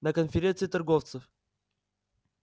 на конференции торговцев